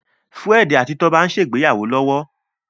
Fred àti Toba n'se ìgbéyàwó lówó.